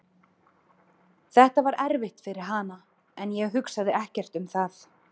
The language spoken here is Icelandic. Þetta var erfitt fyrir hana en ég hugsaði ekkert um það.